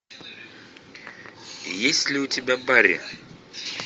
есть ли у тебя барри